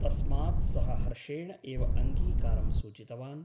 तस्मात् सः हर्षेण एव अङ्गीकारं सूचितवान् ।